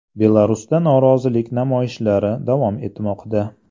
Belarusda norozilik namoyishlari davom etmoqda.